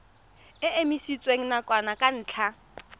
e emisitswe nakwana ka ntlha